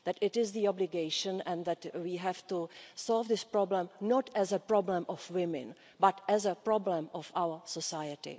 It is an obligation and that we have to solve this problem not as a problem of women but as a problem of our society.